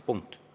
Punkt.